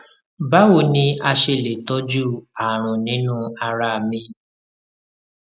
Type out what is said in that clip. bawo ni a ṣe le tọju arun ninu ara mi